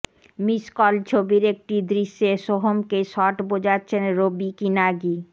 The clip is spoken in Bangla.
মিস কল ছবির একটি দৃশ্যে সোহমকে শট বোঝাচ্ছেন রবি কিনাগি